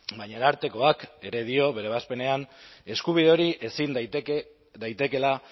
baina arartekoak ere dio bere ebazpenean eskubide hori ezin daitekeela